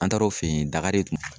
An taara o fe yen ,daka de